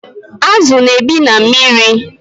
Azu na-ebi na mmiri